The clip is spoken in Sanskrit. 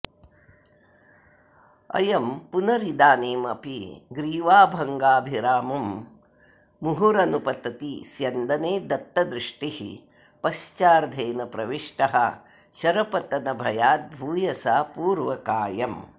अयं पुनरिदानीमपि ग्रीवाभङ्गभिरामं मुहुरनुपतति स्यन्दने दत्तदृष्टिः पश्चार्धेन प्रविष्टः शरपतनभयाद्भूयसा पूर्वकायम्